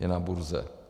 Je na burze.